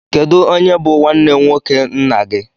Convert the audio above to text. Kedụ onye bụ nwanne nwoke nna gị?